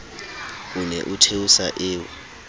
o ne o theosa eo